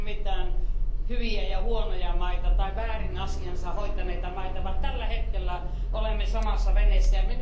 Ei ole mitään hyviä ja huonoja maita tai väärin asiansa hoitaneita maita, vaan tällä hetkellä olemme samassa veneessä.